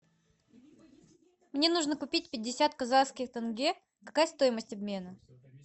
мне нужно купить пятьдесят казахских тенге какая стоимость обмена